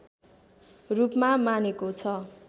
रूपमा मानेको छ